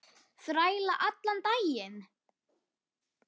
Þræla allan daginn!